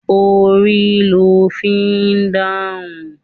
Orí lo fi ń dáhùn.